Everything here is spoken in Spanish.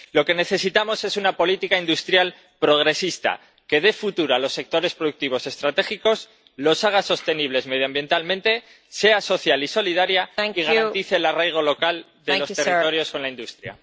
Lo que necesitamos es una política industrial progresista que dé futuro a los sectores productivos estratégicos, los haga sostenibles medioambientalmente, sea social y solidaria y garantice el arraigo local de los territorios con la industria.